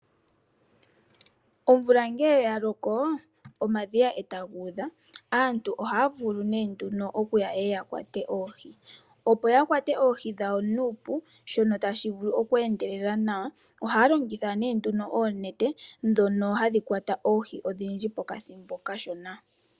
Omvula ngele yaloko omadhiya etaga udha aantu ohaya vulu nee nduno okuya yakwate oohi opo yakwate oohi dhawo nuupu shono tashi vulu oku endelele nawa. Ohaya longitha nee oonete ndhono hadhi kwata oohi odhindji pokathimbo okashona.